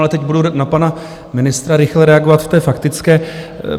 Ale teď budu na pana ministra rychle reagovat v té faktické.